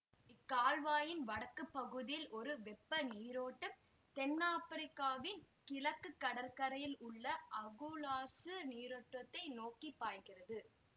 இக்கால்வாயின் வடக்கு பகுதியில் ஒரு வெப்ப நீரோட்டம் தென்னாப்பிரிக்காவின் கிழக்கு கடற்கரையில் உள்ள அகுலாசு நீரோட்டத்தை நோக்கி பாய்கிறது